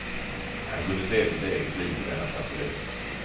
Han kunde se sitt eget liv i denna tragedi.